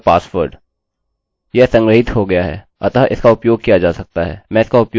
चलिए रिफ्रेश करें और resend